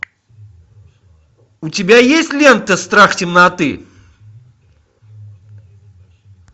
у тебя есть лента страх темноты